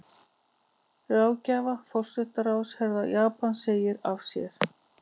Ráðgjafi forsætisráðherra Japans segir af sér